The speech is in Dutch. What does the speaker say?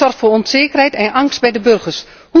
Dit zorgt voor onzekerheid en angst bij de burgers.